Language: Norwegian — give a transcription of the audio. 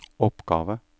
oppgave